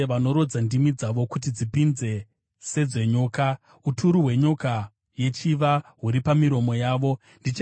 Vanorodza ndimi dzavo kuti dzipinze sedzenyoka; uturu hwenyoka yechiva huri pamiromo yavo. Sera